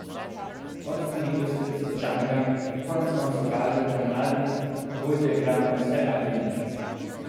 Odstranitev strica Džanga konec koncev kaže, da mladi vodja igra na vse ali nič.